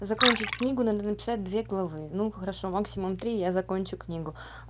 закончить книгу надо написать две головы ну хорошо максимум три я закончю книгу